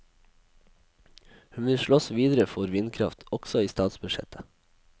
Hun vil slåss videre for vindkraft, også i statsbudsjettet.